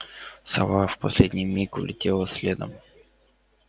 сова в последний миг улетела следом